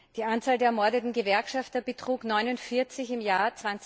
Die Anzahl der ermordeten Gewerkschafter betrug 49 im Jahr